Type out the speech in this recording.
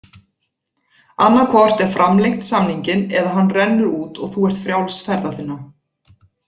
Annað hvort er framlengt samninginn eða hann rennur út og þú ert frjáls ferða þinna.